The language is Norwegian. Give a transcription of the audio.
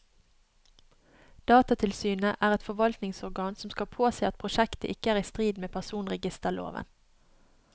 Datatilsynet er et forvaltningsorgan som skal påse at prosjektet ikke er i strid med personregisterloven.